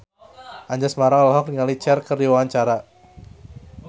Anjasmara olohok ningali Cher keur diwawancara